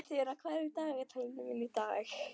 Þura, hvað er í dagatalinu mínu í dag?